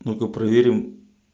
ну-ка проверим